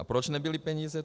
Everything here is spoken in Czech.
A proč nebyly peníze?